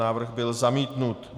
Návrh byl zamítnut.